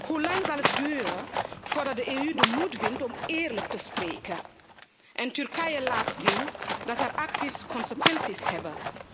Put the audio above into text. Hoelang zal het duren voordat de EU de moed vindt om eerlijk te spreken en Turkije laat zien dat zijn acties consequenties hebben?